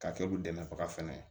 K'a kɛ u dɛmɛbaga fɛnɛ ye